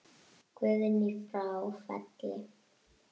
Guðný frá Felli.